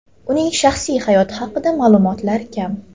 Uning shaxsiy hayoti haqida ma’lumotlar kam.